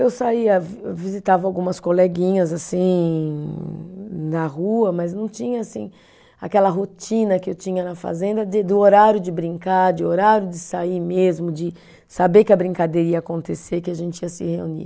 Eu saía, vi visitava algumas coleguinhas assim na rua, mas não tinha assim aquela rotina que eu tinha na fazenda de do horário de brincar, de horário de sair mesmo, de saber que a brincadeira ia acontecer, que a gente ia se reunir.